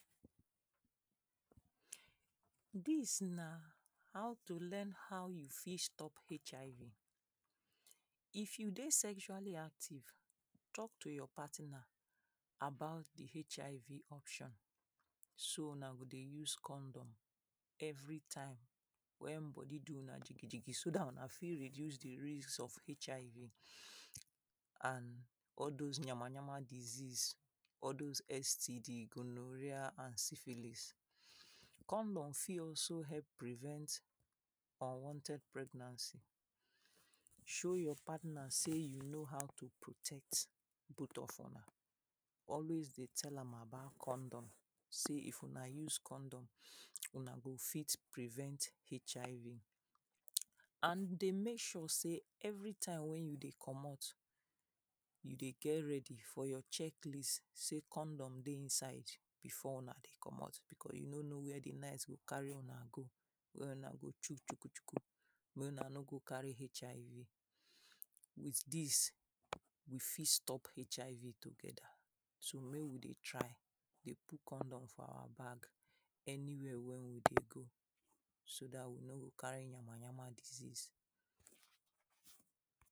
Dis na how to learn how you fit stop HIV, if you dey sexually active talk to your partner about di HIV option so una go dey use condom every time wen body do una gikigiki so dat una fit reduce di risk of HIV and all dose yamayama disease, all dose STD, gonorrhea and syphilis. Condom fit also help prevent unwanted pregnancy, so your partner sey you know how to protect both of una alway dey tell am about condom sey if una use condom una go fit prevent HIV. And dey make sure sey every time wey you dey comot you dey get ready for your check list sey condom dey inside before una dey comot becos you no know wey di night go carry una go where una go shuk shukushuku mey una no go carry HIV. With dis we fit stop HIV togeda so make we dey try dey put condom for our bag anywhere wey we dey go so dat we no go carry yamayama disease.